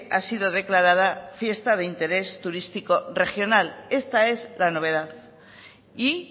ha sido declarada fiesta de interés turístico regional esta es la novedad y